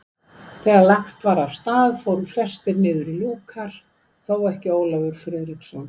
Þegar lagt var af stað fóru flestir niður í lúkar, þó ekki Ólafur Friðriksson.